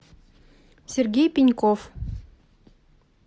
сергей пеньков